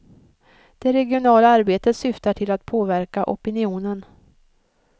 Det regionala arbetet syftar till att påverka opinionen.